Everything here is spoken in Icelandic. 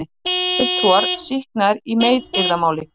Bæjarfulltrúar sýknaðir í meiðyrðamáli